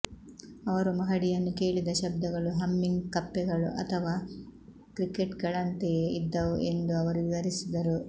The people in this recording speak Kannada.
ಅವರು ಮಹಡಿಯನ್ನು ಕೇಳಿದ ಶಬ್ದಗಳು ಹಮ್ಮಿಂಗ್ ಕಪ್ಪೆಗಳು ಅಥವಾ ಕ್ರಿಕೆಟ್ಗಳಂತೆಯೇ ಇದ್ದವು ಎಂದು ಅವರು ವಿವರಿಸಿದರು